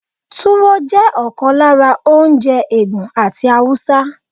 Tuwo jẹ́ ọ̀kan lára oúnjẹ Ègùn àti Haúsá.